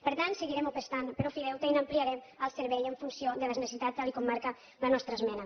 per tant seguirem apostant per ofideute i n’ampliarem el servei en funció de les necessitats tal com marca la nostra esmena